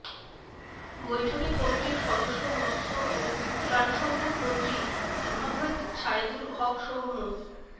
বৈঠকে কমিটির সদস্য মৎস্য ও প্রাণিসম্পদমন্ত্রী মোহাম্মদ ছায়েদুল হকসহ মো